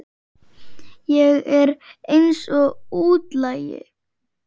Ég er eins og útlagi.